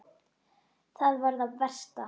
Það var það versta.